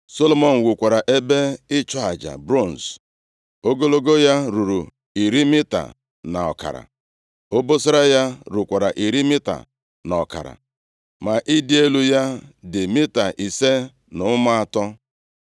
Solomọn wukwara ebe ịchụ aja bronz. Ogologo ya ruru iri mita na ọkara. Obosara ya rukwara iri mita na ọkara; ma ịdị elu ya dị mita ise na ụma atọ.